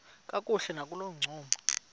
kakuhle nakolo ncumo